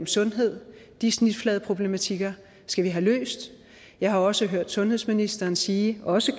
sundhed de snitfladeproblematikker skal vi have løst jeg har også hørt sundhedsministeren sige også